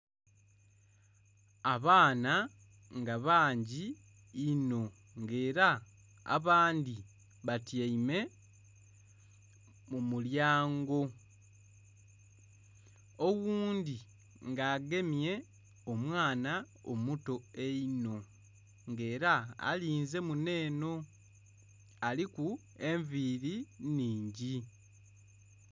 Abaana nga bangi inho nga era abandhi batyaime mu mulyango. Oghundhi nga agemye omwana omuto einho, ng'ela alinze muno eno. Aliku enviili nnhingi.